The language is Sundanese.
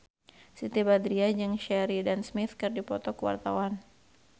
Siti Badriah jeung Sheridan Smith keur dipoto ku wartawan